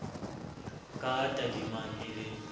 ka a tadimang e le